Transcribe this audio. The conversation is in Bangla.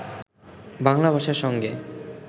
বাংলা ভাষার সঙ্গে